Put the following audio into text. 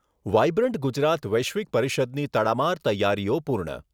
Vibrant Gujarat વૈશ્વિક પરિષદની તડામાર તૈયારીઓ પૂર્ણ.